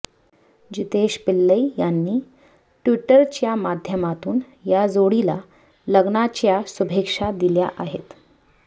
जितेश पिल्लई यांनी ट्विटरच्या माध्यमातून या जोडीला लग्नाच्या शुभेच्छा दिल्या आहेत